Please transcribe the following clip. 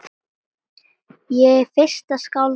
Ég er fyrsta skáld á